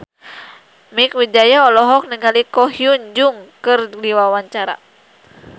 Mieke Wijaya olohok ningali Ko Hyun Jung keur diwawancara